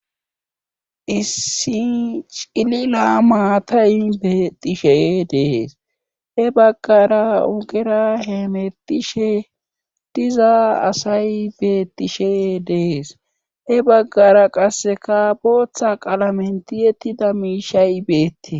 Issi cilila maatayn betishe dees he baggara ugera hemetishe diza asay beettishe dees he baggara qasseka booththa qalamenti yettida miishay beettees.